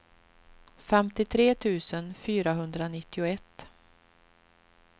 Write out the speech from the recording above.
femtiotre tusen fyrahundranittioett